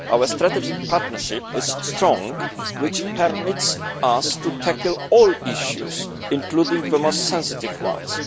Our strategic partnership is strong, which permits us to tackle all issues, including the most sensitive ones.